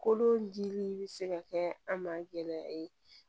Kolodimi bɛ se ka kɛ an ma gɛlɛya ye